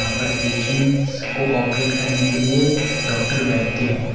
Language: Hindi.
ऊपर पेशेंट्स को ऑपरेट करने के लिए डॉक्टर बैठते हैं।